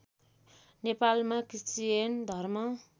नेपालमा क्रिश्चियन धर्म